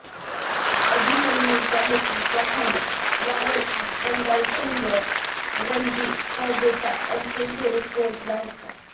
अभिमन्यूच्या नेतृत्वाखाली यावर्षी बंगाल संघ रणजी स्पर्धेच्या अंतिम फेरीत पोहोचला होता